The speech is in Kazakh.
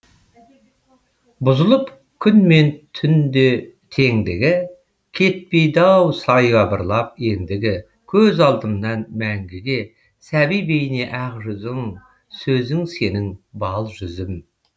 бұзылып күн мен түн теңдігі кетпейді ау саябырлап ендігі көз алдымнан мәңгіге сәби бейне ақ жүзің сөзің сенің бал жүзім